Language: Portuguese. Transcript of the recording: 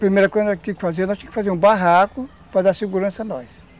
Primeira coisa que a gente tinha que fazer, nós tínhamos que fazer um barraco para dar segurança a nós.